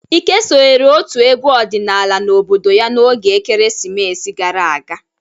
Ike sonyere ótù egwu ọdịnala n'obodo ya n'oge ekeresimesi gara aga.